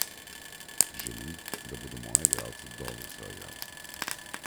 Želim, da bodo moji igralci dobri soigralci.